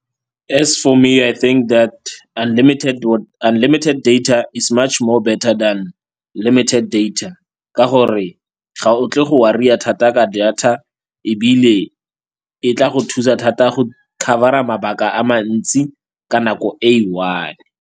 As for me I think that unlimited data is much more better than limited data ka gore ga o tle go worry-a ka data ebile e tla go thusa thata go cover-a mabaka a mantsi ka nako e e one.